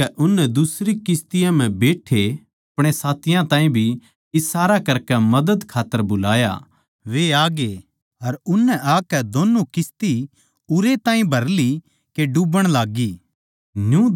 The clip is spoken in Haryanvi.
इस करकै उननै दुसरी किस्ती म्ह बैठ्ठे अपणे साथियाँ ताहीं भी इशारा करकै के आकै मदद खात्तर बुलाया वे आग्ये अर उननै आकै दोन्नु किस्ती उरै ताहीं भर ली के डूबण लाग्गी